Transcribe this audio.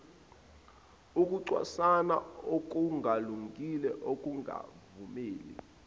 ukucwasana okungalungile ukungavumeli